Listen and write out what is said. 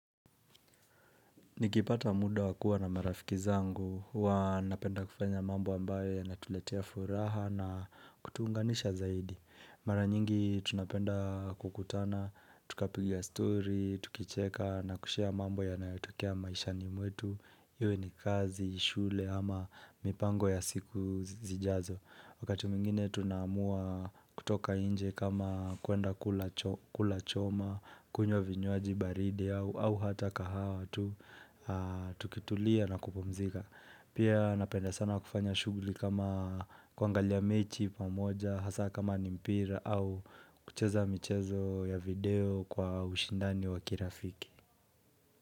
Nikipata muda wakua na marafiki zangu huwa napenda kufanya mambo ambayo ya natuletea furaha na kutuunganisha zaidi. Maranyingi tunapenda kukutana, tukapiga story, tukicheka na kushare mambo ya nayotokea maishani mwetu. Iyo ni kazi, shule ama mipango ya siku zijazo. Wakati mwngine tunaamua kutoka inje kama kuenda kula choma, kunywa vinywaji baridi au hata kahawatu. Tukitulia na kupumzika Pia napenda sana kufanya shuguli kama kuangalia mechi pamoja Hasa kama nimpira au kucheza michezo ya video kwa ushindani wakirafiki.